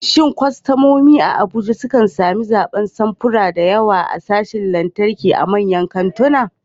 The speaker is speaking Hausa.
Shin kwastomomi a Abuja sukan sami zaɓin samfura da yawa a sashin lantarki a manyan kantuna?